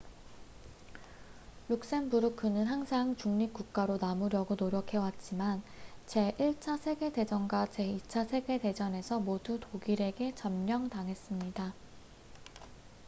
룩셈부르크는 항상 중립국가로 남으려고 노력해왔지만 제1차 세계대전과 제2차 세계대전에서 모두 독일에게 점령당했습니다